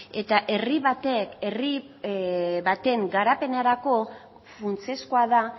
eta herri batek herri baten garapenerako funtsezkoa da